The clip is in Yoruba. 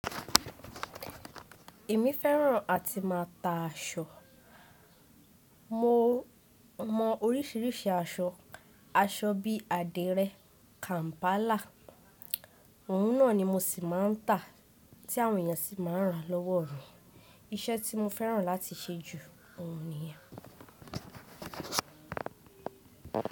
Èmi fẹ́ràn àti má a ta aṣọ. Mò mọ oríṣìíríṣìí aṣọ. Aṣọ bí i àdìrẹ, kàm̀pálà, òun náà ni mo ṣì má a ń ta tí àwọn èèyàn sì má a ń ra lọ́wọ́ mi. Iṣẹ́ tí mo fẹ́ràn láti ṣẹ́ jù ó hun nìyen.